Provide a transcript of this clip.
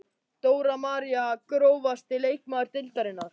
Dóra María Grófasti leikmaður deildarinnar?